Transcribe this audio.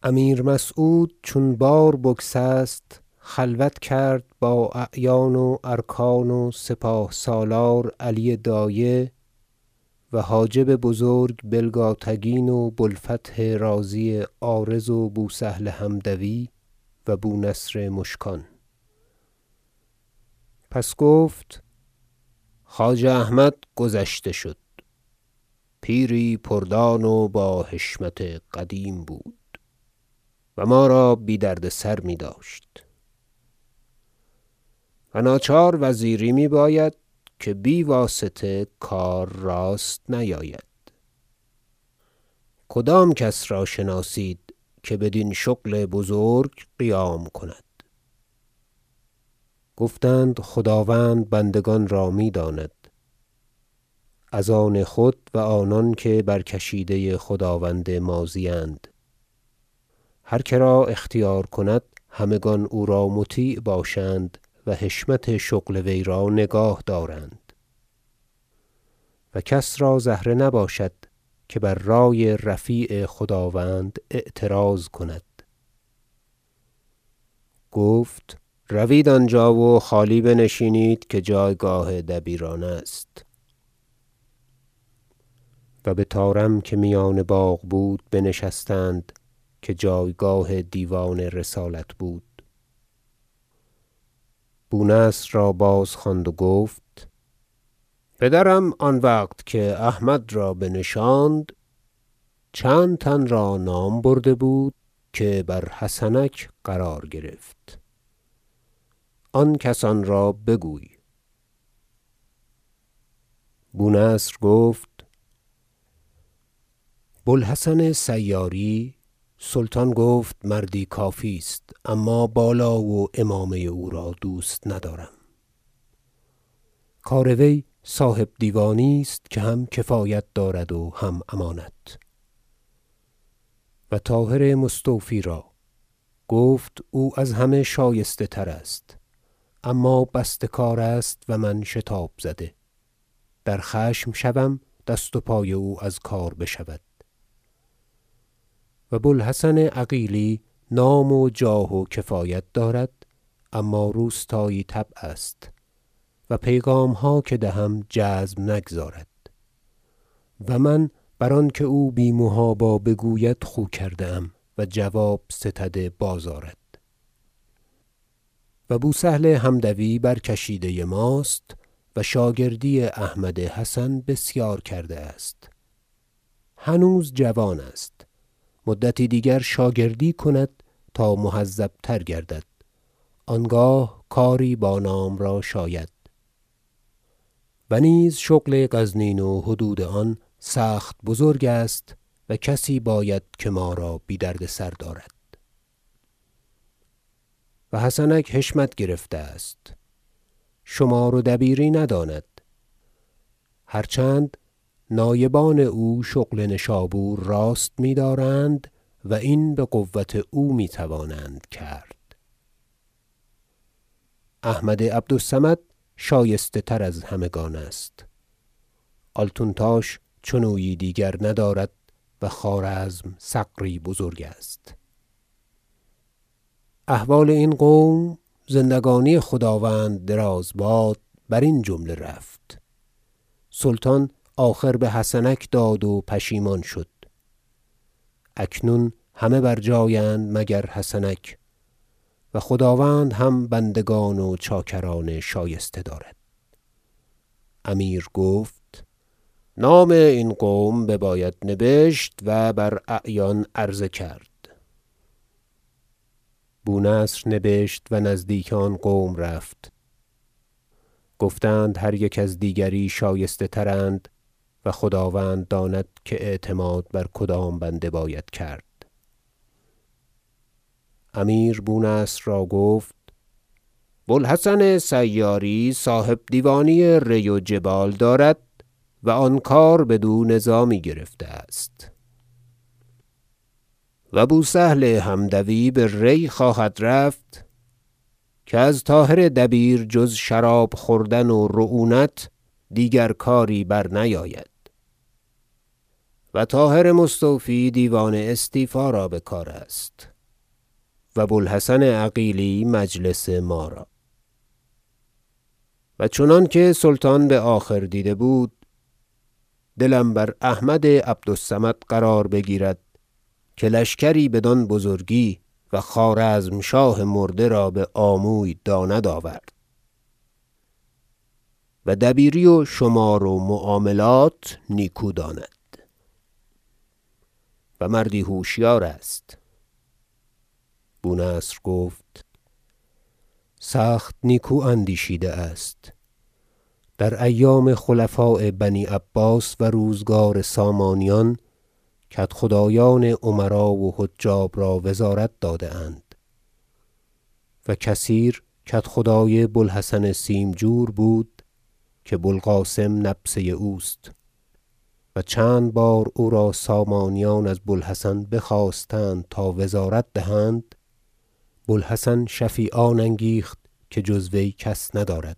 رأی زدن امیر در باب انتخاب وزیر امیر مسعود چون بار بگسست خلوت کرد با اعیان و ارکان و سپاه سالار علی دایه و حاجب بزرگ بلگاتگین و بوالفتح رازی عارض و بوسهل حمدوی و بونصر مشکان پس گفت خواجه احمد گذشته شد پیری پردان و با حشمت قدیم بود و ما را بی دردسر میداشت و ناچار وزیری می باید که بی واسطه کار راست نیاید کدام کس را شناسید که بدین شغل بزرگ قیام کند گفتند خداوند بندگان را میداند از آن خود و آنان که برکشیده خداوند ماضی اند هر کرا اختیار کند همگان او را مطیع باشند و حشمت شغل وی را نگاه دارند و کس را زهره نباشد که بر رأی رفیع خداوند اعتراض کند گفت روید آنجا و خالی بنشینید که جایگاه دبیران است و بطارم که میان باغ بود بنشستند که جایگاه دیوان رسالت بود بونصر را باز خواند و گفت پدرم آن وقت که احمد را بنشاند چند تن را نام برده بود که بر حسنک قرار گرفت آن کسان را بگوی بونصر گفت بو الحسن سیاری را سلطان گفت مردی کافی است اما بالا و عمامه او را دوست ندارم کار وی صاحب دیوانی است که هم کفایت دارد و هم امانت و طاهر مستوفی را گفت او از همه شایسته تر است اما بسته کار است و من شتاب زده در خشم شوم دست و پای او از کار بشود و بو الحسن عقیلی نام و جاه و کفایت دارد اما روستایی طبع است و پیغامها که دهم جزم نگزارد و من بر آن که او بی محابا بگوید خو کرده ام و جواب ستده بازآرد و بوسهل حمدوی برکشیده ماست و شاگردی احمد حسن بسیار کرده است هنوز جوان است مدتی دیگر شاگردی کند تا مهذب تر گردد آنگاه کاری با نام را شاید و نیز شغل غزنین و حدود آن سخت بزرگ است و کسی باید که ما را بی دردسر دارد و حسنک حشمت گرفته است شمار و دبیری نداند هر چند نایبان او شغل نشابور راست میدارند و این بقوت او میتوانند کرد احمد عبد الصمد شایسته تر از همگان است آلتونتاش چنویی دیگر ندارد و خوارزم ثغری بزرگ است احوال این قوم زندگانی خداوند دراز باد برین جمله رفت سلطان آخر بحسنک داد و پشیمان شد اکنون همه بر جای اند مگر حسنک و خداوند هم بندگان و چاکران شایسته دارد امیر گفت نام این قوم بباید نبشت و بر اعیان عرضه کرد بونصر نبشت و نزدیک آن قوم رفت گفتند هر یک از دیگری شایسته ترند و خداوند داند که اعتماد بر کدام بنده باید کرد امیر بونصر را گفت بوالحسن سیاری صاحبدیوانی ری و جبال دارد و آن کار بد و نظامی گرفته است و بوسهل حمدوی به ری خواهد رفت که از طاهر دبیر جز شراب خوردن و رعونت دیگر کاری برنیاید و طاهر مستوفی دیوان استیفا را بکار است و بوالحسن عقیلی مجلس ما را و چنانکه سلطان بآخر دیده بود دلم بر احمد عبد الصمد قرار میگیرد که لشکری بدان بزرگی و خوارزمشاه مرده را بآموی داند آورد و دبیری و شمار و معاملات نیکو داند و مردی هوشیار است بونصر گفت سخت نیکو اندیشیده است در ایام خلفاء بنی عباس و روزگار سامانیان کدخدایان امرا و حجاب را وزارت داده اند و کثیر کدخدای بوالحسن سیمجور بود که بوالقاسم نبسه اوست و چند بار او را سامانیان از بوالحسن بخواستند تا وزارت دهند بو الحسن شفیعان انگیخت که جز وی کس ندارد